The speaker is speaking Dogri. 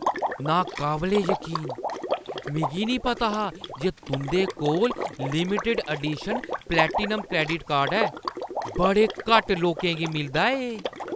नाकाबले यकीन ! मिगी निं पता हा जे तुंʼदे कोल limited edition platinum credit card ऐ। बड़े घट्ट लोकें गी मिलदा ऐ एह्।